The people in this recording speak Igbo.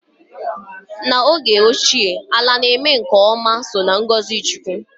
N'oge ochie, ala na-eme nke ọma so n'ngọzị chukwu